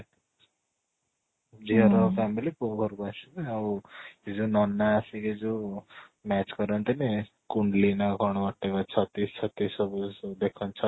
ଝିଅ ର family ପୁଅ ଘରକୁ ଆସିବେ ଆଉ ସେ ଯୋଉ ନନା ଆସିକି ଯୋଉ match କରନ୍ତିନି ନା କ'ଣ whatever ଛତିଶ ଛତିଶ ସବୁ ଦେଖନ୍ତି